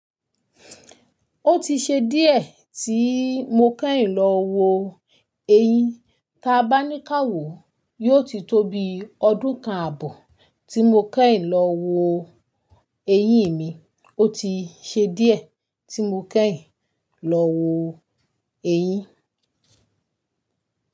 Ó ti ṣe díẹ̀ tí mo kẹ́yìn lọ wo eyín. Ta bá ní káwó, yóò ti tó bi ọdún kan àbọ̀ tí mo kẹ́yìn lọ wo eyín mi. Ó ti ṣe díẹ̀ tí mo kẹ́yìn lọ wo eyín.